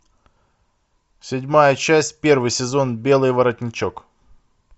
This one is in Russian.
седьмая часть первый сезон белый воротничок